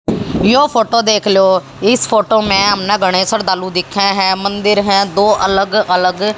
यो photo देख लो इस फोटो में हमने घने श्रद्धालु देखे हैं मंदिर हैं दो अलग अलग।